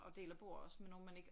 Og deler bord også med nogle man ikke